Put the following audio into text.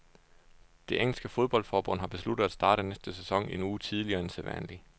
Det engelske fodboldforbund har besluttet at starte næste sæson en uge tidligere end sædvanlig.